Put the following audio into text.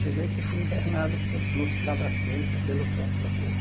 Cheguei aqui e fui internado pelo no Hospital das Clínicas pelo pronto-socorro.